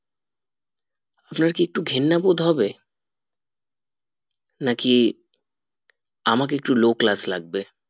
আপনার কি একটু ঘেন্নাবোধ হবে নাকি আমাকে একটু low class লাগবে